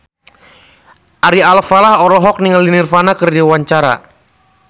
Ari Alfalah olohok ningali Nirvana keur diwawancara